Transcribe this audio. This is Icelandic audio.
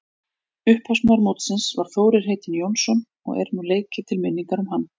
Upphafsmaður mótsins var Þórir heitinn Jónsson og er nú leikið til minningar um hann.